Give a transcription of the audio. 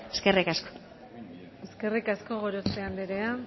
eskerrik asko eskerrik asko gorospe andrea